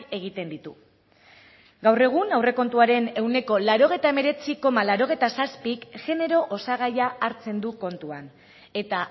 egiten ditu gaur egun aurrekontuaren ehuneko laurogeita hemeretzi koma laurogeita zazpik genero osagaia hartzen du kontuan eta